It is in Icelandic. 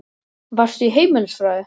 Varstu í heimilisfræði?